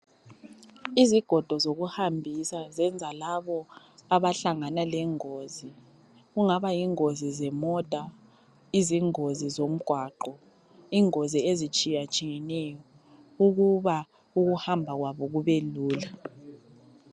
Izigodo zokuhambisa ngezalabo abahlangana lengozi Kungaba yingozi zemota ,izingozi zomgwaqo ,ingozi ezitshiyatshiyeneyo ,ukuba ukuhamba kwabo kube lula